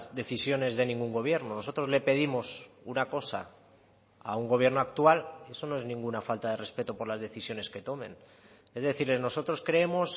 decisiones de ningún gobierno nosotros le pedimos una cosa a un gobierno actual eso no es ninguna falta de respeto por las decisiones que tomen es decir nosotros creemos